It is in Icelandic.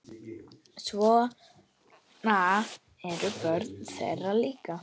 Svona eru börnin þeirra líka.